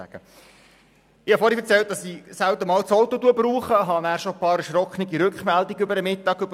Ich habe vorher erzählt, dass ich das Auto selten einmal brauche und habe in der Mittagspause bereits einige erschrockene Mitteilungen erhalten.